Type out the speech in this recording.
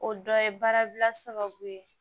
O dɔ ye baara bila sababu ye